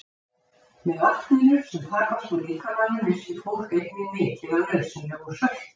Með vatninu sem tapast úr líkamanum missir fólk einnig mikið af nauðsynlegum söltum.